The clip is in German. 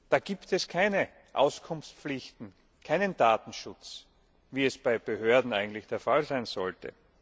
Da gibt es keine Auskunftspflichten, keinen Datenschutz, wie es bei Behörden eigentlich der Fall sein sollte.